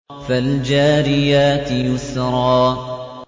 فَالْجَارِيَاتِ يُسْرًا